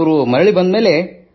ಇವರು ಮರಳಿ ಬಂದ ಮೇಲೆ